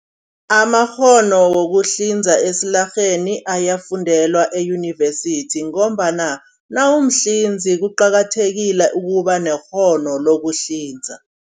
Amakghono wokuhlinza esilarheni ayafundelwa eyunivesithi ngombana nawumhlinzi kuqakathekile ukuba nekghono lokuhlinza.